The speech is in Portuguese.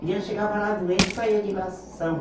Criança chegava lá doente e saía de lá são